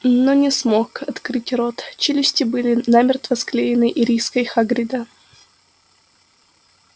но не смог открыть рот челюсти были намертво склеены ириской хагрида